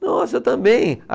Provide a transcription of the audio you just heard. Nossa, eu também.